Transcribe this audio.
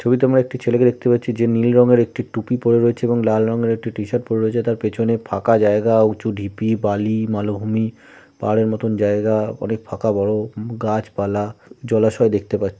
ছবিতে আমরা একটি ছেলেকে দেখতে পাচ্ছি যে নীল রঙের একটি টুপি পরে রয়েছে এবং লাল রঙের একটি টি-শার্ট পরে রয়েছে তার পেছনে ফাঁকা জায়গা উঁচু ঢিপি বালি মালভূমি পাহাড়ের মতন জায়গা অনেক ফাঁকা বড় গাছপালা জলাশয় দেখতে পাচ্ছি ।